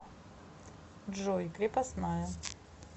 джой крепостная